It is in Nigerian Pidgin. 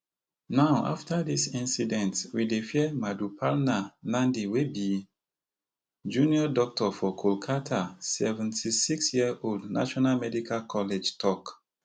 now afta dis incident we dey fear Madhuparna Nandi wey be junior doctor for kolkata seventy-six yearold national medical college tok